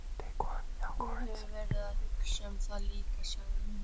Þú hefur verið að hugsa um það líka, sagði hún.